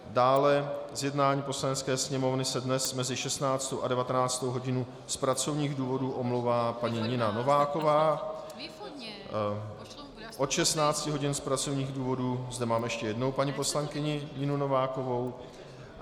Dále z jednání Poslanecké sněmovny se dnes mezi 16. a 19. hodinou z pracovních důvodů omlouvá paní Nina Nováková, od 16 hodin z pracovních důvodů zde mám ještě jednou paní poslankyni Ninu Novákovou.